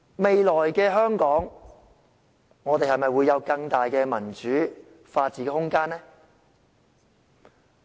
未來的香港會有更大的民主和法治空間嗎？